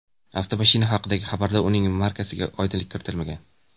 Avtomashina haqidagi xabarda uning markasiga oydinlik kiritilmagan.